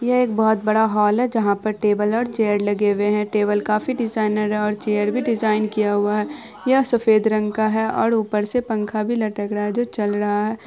यह एक बहुत बड़ा हॉल है जहाँ पे टेबल और चेयर लगे हुए हैं। टेबल काफी डिजाइनर है और चेयर भी डिजाइन किया हुआ है। यह सफेद रंग का है और ऊपर से पंखा भी लटक रहा है जो चल रहा है।